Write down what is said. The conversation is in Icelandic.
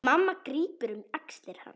Mamma grípur um axlir hans.